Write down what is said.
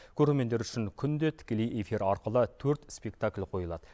көрермендер үшін күнде тікелей эфир арқылы төрт спектакль қойылады